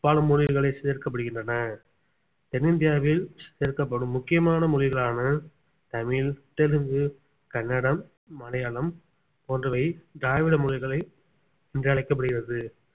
பல மொழிகளை சேர்க்கப்படுகின்றன தென்னிந்தியாவில் சேர்க்கப்படும் முக்கியமான மொழிகளான தமிழ் தெலுங்கு கன்னடம் மலையாளம் போன்றவை திராவிட மொழிகளை என்று அழைக்கப்படுகிறது